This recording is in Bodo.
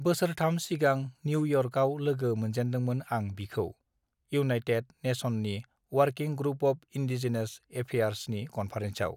बोसोरथाम सिगां निउ इयर्कआव लोगो मोनजेनदोंमोन आं बिखौ इउनाइटेड नेसननि अवारकिं ग्रुप अब इन्दिजेनास एफेयारस नि कनफारेन्सआव